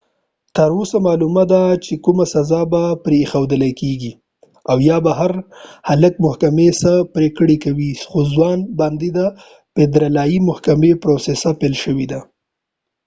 تر اوسه معلومه ده چې کومه سزا به پرې ایښودل کېږي او یا به پر هلک محکمې څه پرېکړه کوي خو ځوان باندې د فدرالي محکمې پروسه پیل شوله